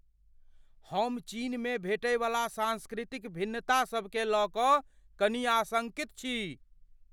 हम चीनमे भेंटयवला सांस्कृतिक भिन्नता सभकेँ लय कऽ कनि आशङ्कित छी।